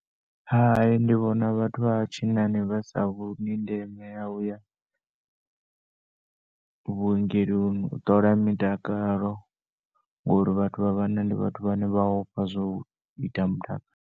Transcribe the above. ndi vhona vhathu vha tshinani vhasa vhoni ndeme ya uya vhuongeloni u ṱola mitakalo ngori vhathu vha vhanna ndi vhathu vhane vhaya ofha zwa uita muta .